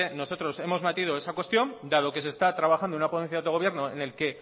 nosotros hemos metido esa cuestión dado que se está trabajando en una ponencia de autogobierno en el que